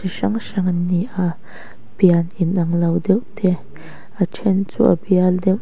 hrang hrang an ni a pian in anglo deuh te a then chu a bial deuh--